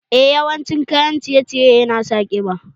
Eh, yawan cin kayan ciye ciye na sa ƙiba